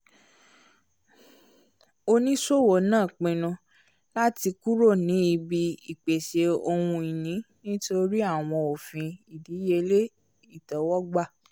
oníṣòwò náà pinnu lati kúrò ni ìbí ìpèsè ohun-ìní nítorí àwọn òfin ìdíyelé itẹwọgbà